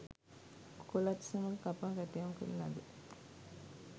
කොලත් සමග කපා කැටයම් කරන ලද